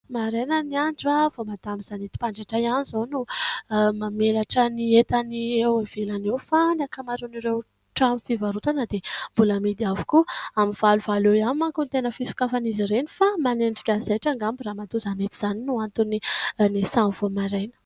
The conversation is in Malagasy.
Maraina ny andro ! Vao madama Zanety mpanjaitra ihany izao no mamelatra ny entany eo ivelany eo, fa ny ankamaroan'ireo trano fivarotana dia mbola mihidy avokoa. Amin'ny valovalo eo ihany manko no tena fisokafan'izy ireny ; fa manenjika zaitra angamba ramatoa Zanety izany no antony niasany vao maraina.